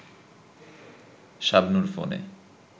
শাবনূর ফোনে